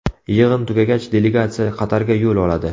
Yig‘in tugagach, delegatsiya Qatarga yo‘l oladi.